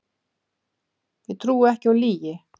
Ég trúi ekki á lygi